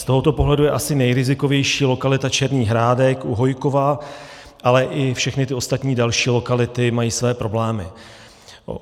Z tohoto pohledu je asi nejrizikovější lokalita Čertův Hrádek u Hojkova, ale i všechny ty ostatní další lokality mají své problémy.